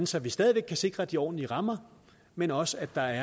så vi stadig væk kan sikre de ordentlige rammer men også at der